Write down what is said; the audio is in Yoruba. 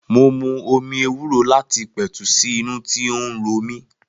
Mo mu omi ewúro láti pètù sí inú tí ó ń romí